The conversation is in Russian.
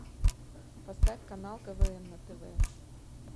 поставь канал квн на тв